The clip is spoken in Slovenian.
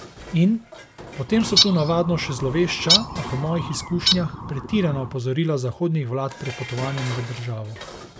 In: 'Potem so tu navadno še zlovešča, a, po mojih izkušnjah, pretirana opozorila zahodnih vlad pred potovanjem v državo.